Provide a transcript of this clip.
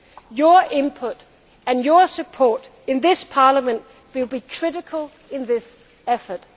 today. Your input and your support in this Parliament will be critical in this